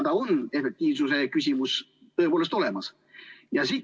Efektiivsuse küsimus on tõepoolest olemas.